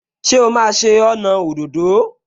Ṣé o máa ṣe ọnà òdòdó?